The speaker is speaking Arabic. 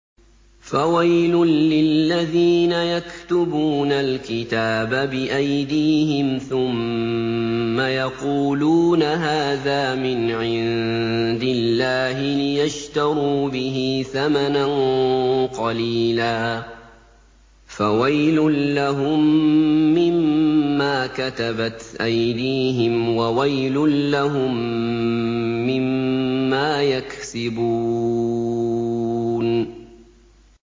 فَوَيْلٌ لِّلَّذِينَ يَكْتُبُونَ الْكِتَابَ بِأَيْدِيهِمْ ثُمَّ يَقُولُونَ هَٰذَا مِنْ عِندِ اللَّهِ لِيَشْتَرُوا بِهِ ثَمَنًا قَلِيلًا ۖ فَوَيْلٌ لَّهُم مِّمَّا كَتَبَتْ أَيْدِيهِمْ وَوَيْلٌ لَّهُم مِّمَّا يَكْسِبُونَ